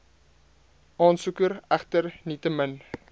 aansoeker egter nietemin